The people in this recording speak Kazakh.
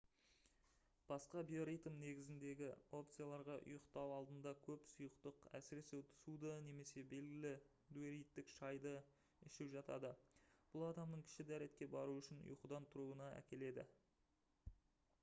басқа биоритм негізіндегі опцияларға ұйықтау алдында көп сұйықтық әсіресе суды немесе белгілі диуретик шайды ішу жатады бұл адамның кіші дәретке бару үшін ұйқыдан тұруына әкеледі